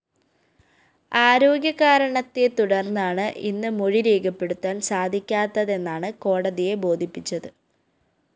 ആരോഗ്യകാരണത്തെ തുടര്‍ന്നാണ് ഇന്ന് മൊഴി രേഖപ്പെടുത്താന്‍ സാധിക്കാത്തതെന്നാണ് കോടതിയെ ബോധിപ്പിച്ചത്